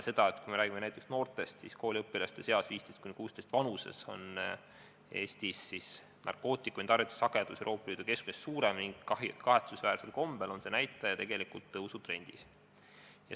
Kui me räägime noortest, siis 15–16-aastaste kooliõpilaste seas on Eestis narkootikumide tarvitamise sagedus Euroopa Liidu keskmisest suurem ning kahetsusväärsel kombel on see näitaja tõusutrendis.